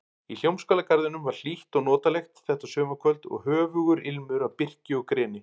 Í Hljómskálagarðinum var hlýtt og notalegt þetta sumarkvöld og höfugur ilmur af birki og greni.